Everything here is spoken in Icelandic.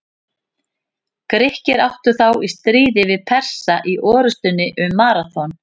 Grikkir áttu þá í stríði við Persa í orrustunni um Maraþon.